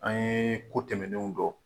An ye ko tɛmɛnenw dɔn